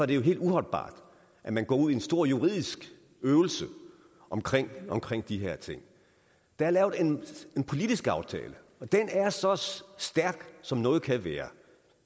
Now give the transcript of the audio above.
det jo helt uholdbart at man går ud i en stor juridisk øvelse omkring omkring de her ting der er lavet en politisk aftale og den er så stærk som noget kan være